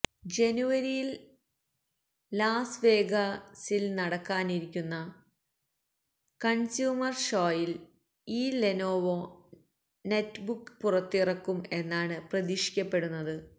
ജനുവരിയില് ലാസ് വേഗാസില് നടക്കാനിരിക്കുന്ന കണ്സ്യൂമര് ഷോയില് ഈ ലെനോവോ നെറ്റ്ബുക്ക് പുറത്തിറക്കും എന്നാണ് പ്രതീക്ഷിക്കപ്പെടുന്നത്